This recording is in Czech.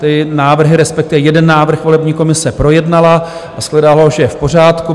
Ty návrhy, respektive jeden návrh, volební komise projednala, a shledala, že je v pořádku.